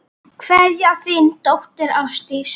Kveðja, þín dóttir, Ásdís.